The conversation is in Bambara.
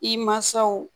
I mansaw